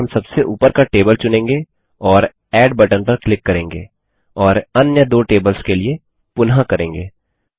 यहाँ हम सबसे ऊपर का टेबल चुनेंगे और एड बटन पर क्लिक करेंगे और अन्य दो टेबल्स के लिए पुनः करेंगे